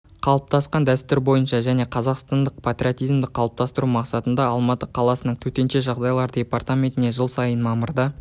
қалыптасқан дәстүр бойынша және қазақстандық патриотизмді қылыптастыру мақсатында алматы қаласының төтенше жағдайлар департаментінде жыл сайын мамырда